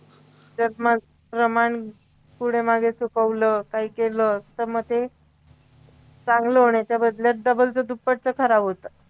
त्यात मग प्रमाण पुढे मागे चुकवलं काही केलं तर मग ते चांगलं होण्याच्या बदल्यात जबरच दुप्पटच खराब होतं